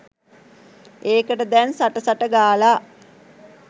ඒකට දැන් සට සට ගාලා